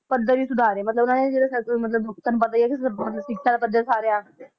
ਪੱਧਰ ਹੀ ਸੁਧਾਰੇ ਮਤਲਬ ਇਹਨਾਂ ਨੇ ਜਿਹੜੇ ਮਤਲਬ ਜਿਹੜੇ ਸ਼ਿਕ੍ਸ਼ਾ ਦਾ ਪੱਧਰ ਸੁਧਾਰਿਆ